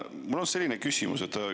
Mul on selline küsimus.